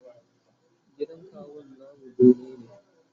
gidan kawun namu bene ne